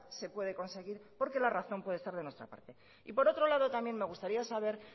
se puede conseguir porque la razón puede estar de nuestra parte y por otro lado también me gustaría saber